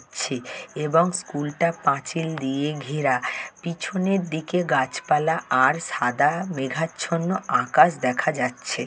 ছে এবং স্কুলটা পাঁচিল দিয়ে ঘেরা পিছনের দিকে গাছপালা আর সাদা মেঘাচ্ছন্ন আকাশ দেখা যাচ্ছে।